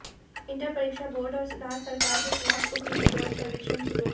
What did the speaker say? inter परीक्षा board और राज्य सरकार के ख़िलाफ़ उग्र विरोध प्रदर्शन शुरू हुए